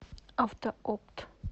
автоопт